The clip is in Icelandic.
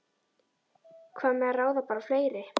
Hvað með að ráða bara fleiri?